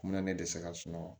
Ne ne dɛsɛra sunɔgɔ